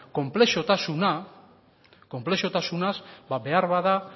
konplexutasuna behar bada